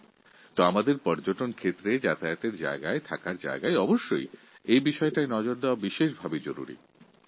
ঠিক সেই ভাবে আমাদের পর্যটনস্থলগুলিকে বিশ্রামাগারগুলি ও অতিথিনিবাসগুলি পরিষ্কার পরিচ্ছন্ন রাখা প্রকৃতপক্ষে একটা বড় কাজ